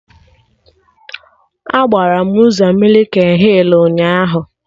Agbara m ụzọ mịkin hịl ụnyaahụ